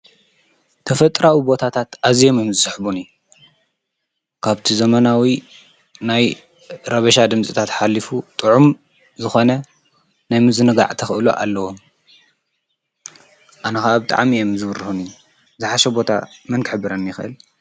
ተፈጥራዊ ቦታታት አዚዮም እዮም ዝስሕቡኒ ።ካብቲ ዘመናዊ ናይ ረብሻ ድምፅታት ሓሊፉ ጥዑም ዝኾነ ናይ ምዝንጋዕ ተኽእሎ አለዎ። አነከአ ብጣዕሚ እዮም ዝብሩሁኒ። ዝሓሽ ቦታ መን ክሕብረኒ ይክእል?